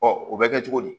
o bɛ kɛ cogo di